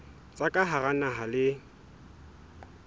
tsa ka hara naha le